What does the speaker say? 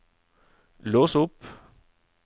lås opp